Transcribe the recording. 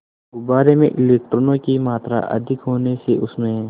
गुब्बारे में इलेक्ट्रॉनों की मात्रा अधिक होने से उसमें